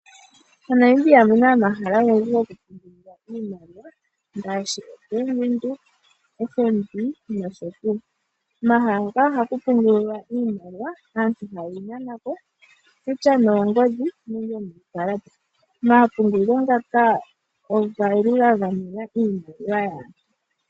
MoNamibia omu na omahala ogendji gokupungulila iimaliwa ngaashi: Ombaanga yaVenduka, Ombaanga yotango yopashigwana nosho tuu. Omahala ngaka ohaku pungulilwa iimaliwa aantu ihaya imana po kutya noongodhi nenge nuukalata. Omapungulilo ngaka oge li ga gamena iimaliwa yaantu.